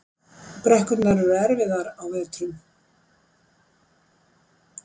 Brekkurnar eru erfiðar á vetrum